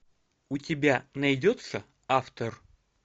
у тебя найдется автор